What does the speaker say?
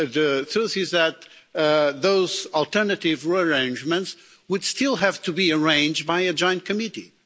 The truth is that those alternative arrangements would still have to be arranged by a joint committee.